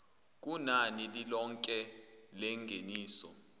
kunani lilonke lengeniso